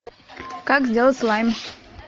как сделать слайм